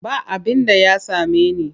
Ba abinda ya same ni.